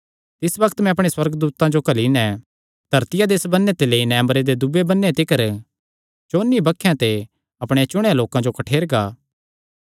तिस बग्त मैं अपणे सुअर्गदूतां जो घल्ली नैं धरतिया दे इस बन्नें ते लेई नैं अम्बरे दे दूये बन्नें तिकर चौंन्नी बक्खेयां ते अपणेयां चुणेयां लोकां जो कठ्ठेरगा